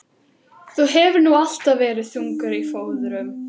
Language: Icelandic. Þú hefur nú alltaf verið þungur á fóðrum.